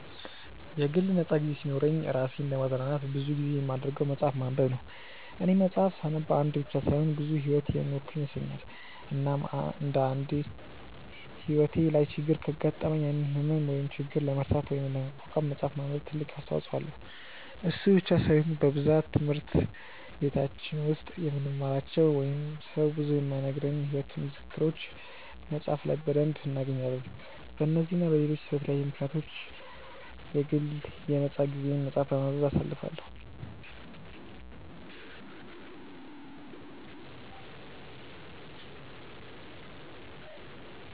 የግል ነፃ ጊዜ ሲኖረኝ እራሴን ለማዝናናት ብዙ ጊዜ የማደርገው መፅሐፍ ማንበብ ነው፦ እኔ መፅሐፍ ሳነብ አንድ ብቻ ሳይሆን ብዙ ሕይወት የኖርኩ ይመስለኛል፤ እናም አንድ አንዴ ሕይወቴ ላይ ችግር ካጋጠመኝ ያንን ህመም ወይም ችግር ለመርሳት ወይም ለመቋቋም መፅሐፍ ማንበብ ትልቅ አስተዋጽኦ አለው፤ እሱ ብቻ ሳይሆን በብዛት ትምህርት በቲች ውስጥ የማንማራቸው ወይንም ሰው ብዙ የማይነግረንን የሕይወት ምክሮችን መፅሐፍ ላይ በደንብ እናገኛለን፤ በነዚህ እና በለሎች በተለያዩ ምክንያቶች ምክንያት የግል የ ነፃ ጊዜየን መፅሐፍ በማንበብ አሳልፈዋለው።